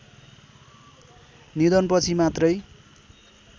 निधनपछि मात्रै